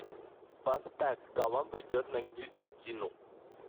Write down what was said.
поставь коломбо идет на гильотину